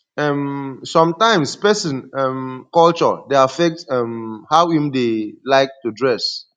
um sometimes person um culture dey affect um how im dey like to dress